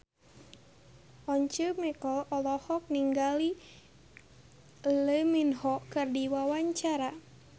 Once Mekel olohok ningali Lee Min Ho keur diwawancara